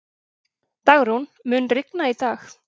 Dagrún, mun rigna í dag?